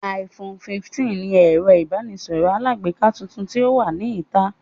iPhone 15 ni ẹ̀rọ ìbánisọ̀rọ̀ alágbèéká tuntun tí ó wà ní ìta